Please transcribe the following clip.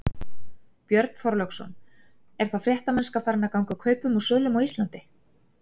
Björn Þorláksson: Er þá fréttamennska farin að ganga kaupum og sölum á Íslandi?